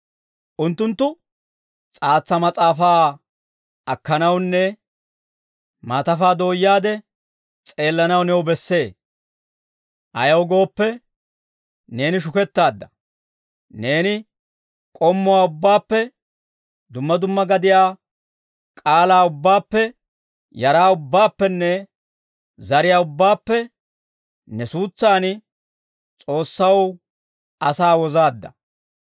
Unttunttu, «S'aatsa mas'aafaa akkanawunne, maatafaa dooyaade, s'eellanaw new bessee. Ayaw gooppe, neeni shukettaadda. Neeni k'ommuwaa ubbaappe, dumma dumma gadiyaa k'aalaa ubbaappe, yaraa ubbaappenne, zariyaa ubbaappe, ne suutsan, S'oossaw asaa wozaadda.